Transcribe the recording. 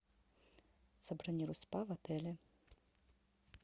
забронируй спа в отеле